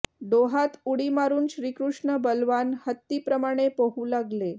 डोहात उडी मारून श्रीकृष्ण बलवान हत्ती प्रमाणे पोहू लागले